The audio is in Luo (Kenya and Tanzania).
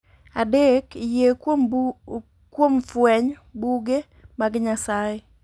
Adek, Yie Kuom Fweny (Buge) mag Nyasaye.